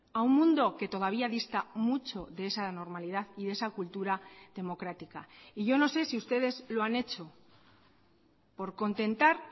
a un mundo que todavía dista mucho de esa normalidad y de esa cultura democrática y yo no sé si ustedes lo han hecho por contentar